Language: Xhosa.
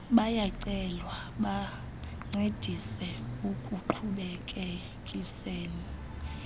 bayacelwa bancedise ekuqhubekekiseni